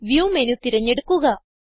view menu തിരഞ്ഞെടുക്കുക